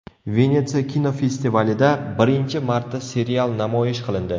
Venetsiya kinofestivalida birinchi marta serial namoyish qilindi.